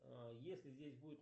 если здесь будет